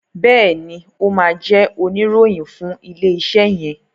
Béèni o má jé Oníròhìn fún ilé iṣé yen.